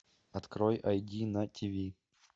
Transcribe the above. открой айди на тв